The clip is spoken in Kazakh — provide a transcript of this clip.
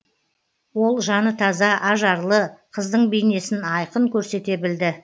ол жаны таза ажарлы қыздың бейнесін айқын көрсете білді